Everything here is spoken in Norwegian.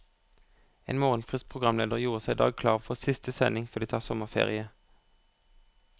En morgenfrisk programleder gjorde seg i dag klar for siste sending før de tar sommerferie.